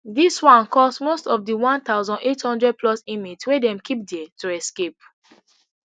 dis one cause most of di one thousand, eight hundred plus inmates wey dem keep dia to escape